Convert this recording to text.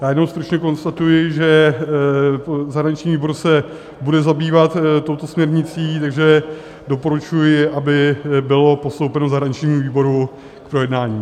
Já jenom stručně konstatuji, že zahraniční výbor se bude zabývat touto směrnicí, takže doporučuji, aby bylo postoupeno zahraničnímu výboru k projednání.